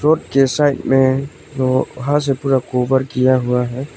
उसके साइड में वहां से पुरा गोबर किया हुआ है।